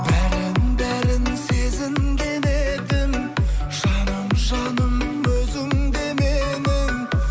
бәрін бәрін сезінген едім жаным жаным өзіңде менің